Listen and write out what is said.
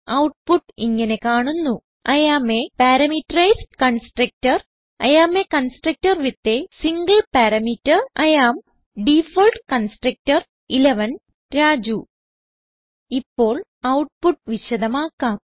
output ഇങ്ങനെ കാണുന്നു I am a parameterized constructor I am a constructor with a single parameter I am default constructor Raju ഇപ്പോൾ output വിശദമാക്കാം